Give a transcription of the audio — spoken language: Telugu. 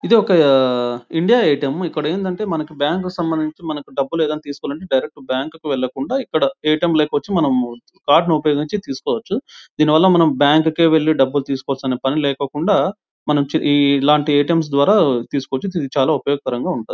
ఏది ఒక ఇండియ ఎ_టి_ఎం . ఇక్కడ అంది అంటే మనకి బ్యాంక్ కి సంబంధించి మనకు డబ్బులు ఏమైనా తీసుకోవాలి అంటే డైరెక్ట్ బ్యాంక్ కి వెళ్ళకుండ మనము ఎ_టి_ఎం కార్డు ఉపయోగించి తీసుకోవచ్చు. దీని వల్ల మనకు బ్యాంక్ కే వెళ్ళి డబ్బులు తీసుకున్న పని లేకేకుండా ఇల్లాంటి ఎ_టి_ఎం ద్వారా తీసుకోవచ్చు. ఇది చాలా ఉపయోగకరంగా ఉంటుంది.